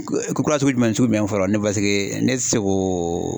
Ko ko kura sugujumɛn ni sugujumɛn fɔlɔ paseke ne te se k'o